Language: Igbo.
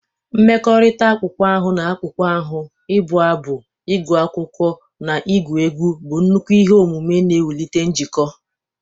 Mmekọrịta akpụkpọ ahụ na akpụkpọ ahụ, ịbụ abụ, ịgụ akwụkwọ, na igwu egwu bụ nnukwu ihe omume na-ewulite njikọ.